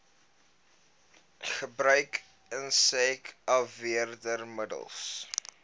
gebruik insek afweermiddels